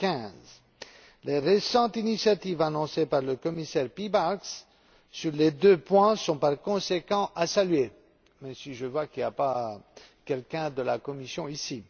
2015. Les récentes initiatives annoncées par le commissaire Piebalgs sur les deux points sont par conséquent à saluer même si je vois qu'il n'y a personne de la Commission ici